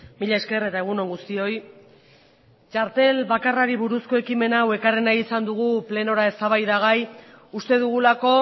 mila esker eta egun on guztioi txartel bakarrari buruzko ekimen hau ekarri nahi izan dugu plenora eztabaidagai uste dugulako